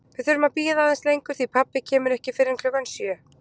Við þurfum að bíða aðeins lengur því pabbi kemur ekki fyrr en klukkan sjö